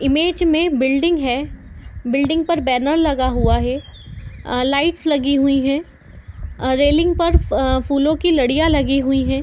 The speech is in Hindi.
इमेज में बिल्डिंग है बिल्डिंग पर बैनर लगा हुआ है आ लाइट्स लगी हुई है आ रेलिंग पर फूलों की लड़ियाँ लगी हुई है।